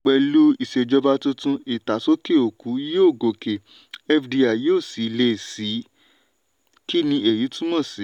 pẹ̀lú ìṣèjọba tuntun ìtàsókè-òkú yóò gòkè fdi yóò sì lé síi kí ni èyí túmọ̀ sí?